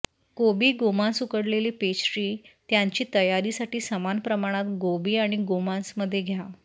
कोबी गोमांस उकडलेले पेस्ट्री त्यांची तयारी साठी समान प्रमाणात गोभी आणि गोमांस मध्ये घ्या